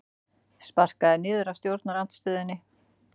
Sparkaður niður af stjórnarandstöðunni